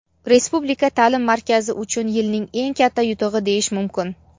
Respublika taʼlim markazi uchun yilning eng katta yutug‘i deyish mumkin.